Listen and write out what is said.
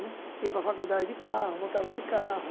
Né ia para a faculdade de carro, voltava de carro.